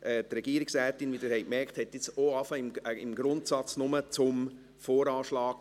Die Frau Regierungsrätin hat, wie Sie gehört haben, erst einmal im Grundsatz nur zum VA gesprochen.